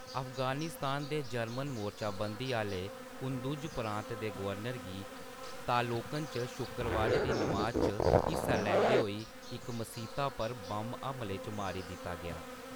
अफगानिस्तान दे जर्मन-मोर्चाबंदी आह्‌ले कुंदुज प्रांत दे गवर्नर गी तालोकन च शुक्करबारै दी नमाज च हिस्सा लैंदे होई इक मसीता पर बम हमले च मारी दित्ता गेआ।